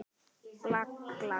Ég var látin bíða.